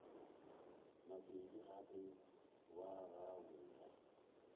mabedi gape wa go ja